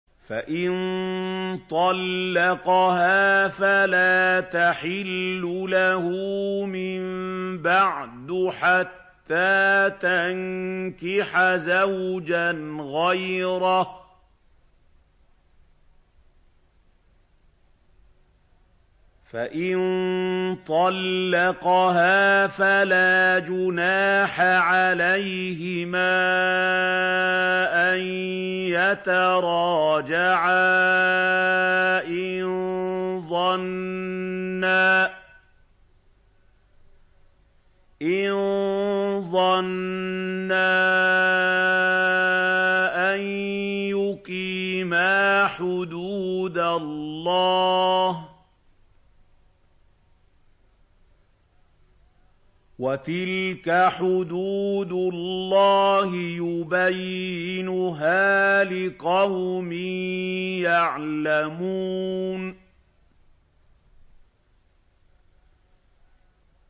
فَإِن طَلَّقَهَا فَلَا تَحِلُّ لَهُ مِن بَعْدُ حَتَّىٰ تَنكِحَ زَوْجًا غَيْرَهُ ۗ فَإِن طَلَّقَهَا فَلَا جُنَاحَ عَلَيْهِمَا أَن يَتَرَاجَعَا إِن ظَنَّا أَن يُقِيمَا حُدُودَ اللَّهِ ۗ وَتِلْكَ حُدُودُ اللَّهِ يُبَيِّنُهَا لِقَوْمٍ يَعْلَمُونَ